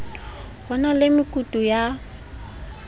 ho na le mekutu ya